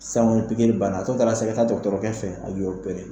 Sisan kɔni pigiri banna a to ye i ta ka dɔtɔrɔkɛ fe yen a k'i opere